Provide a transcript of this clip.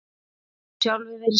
Þú getur sjálfur verið skepna!